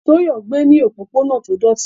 Toyo gbé ní òpópónà tó dọ̀tí.